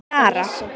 Jara